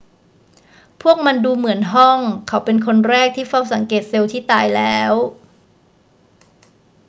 พวกมันดูเหมือนห้อง เขาเป็นคนแรกที่เฝ้าสังเกตเซลล์ที่ตายแล้ว